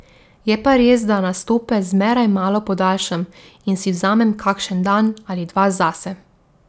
Je pa res, da nastope zmeraj malo podaljšam in si vzamem kakšen dan ali dva zase.